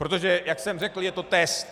Protože jak jsem řekl, je to test.